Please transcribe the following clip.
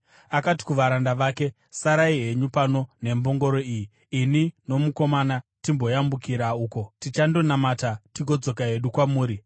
Akati kuvaranda vake, “Sarai henyu pano nembongoro iyi, ini nomukomana timboyambukira uko. Tichandonamata tigodzoka hedu kwamuri.”